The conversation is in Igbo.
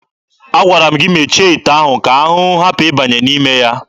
Agwara m gị mechie ite ahụ ka ahụhụ hapụ ịbanye n'ime ya!